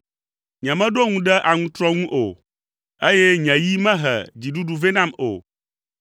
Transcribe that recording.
Nyemeɖo ŋu ɖe nye aŋutrɔ ŋu o, eye nye yi mehe dziɖuɖu vɛ nam o,